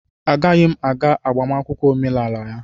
Agaghị m aga agbamakwụkwọ omenala ya